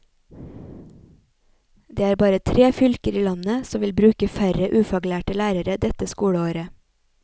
Det er bare tre fylker i landet som vil bruke færre ufaglærte lærere dette skoleåret.